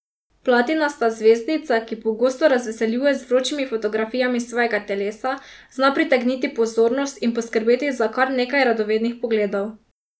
Platinasta zvezdnica, ki pogosto razveseljuje z vročimi fotografijami svojega telesa, zna pritegniti pozornost in poskrbeti za kar nekaj radovednih pogledov.